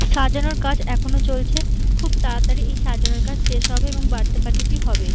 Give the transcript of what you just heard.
সাজানোর কাজ এখনো চলছে খুব তাড়াতাড়ি সাজানোর কাজ শেষ হবে এবং বার্থডে পার্টি -টি হবে।